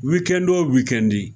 Wikɛni wo wikɛni.